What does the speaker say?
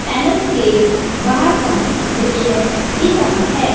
Anus के बाहर का दृश्य दिख रहा है।